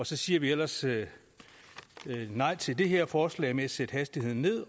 så siger vi ellers nej til det her forslag med at sætte hastigheden ned